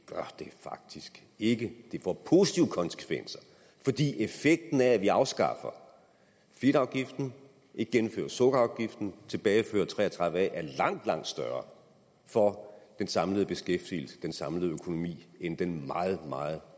faktisk ikke det får positive konsekvenser fordi effekten af at vi afskaffer fedtafgiften ikke gennemfører sukkerafgiften og tilbagefører § tre og tredive a er langt langt større for den samlede beskæftigelse den samlede økonomi end den meget meget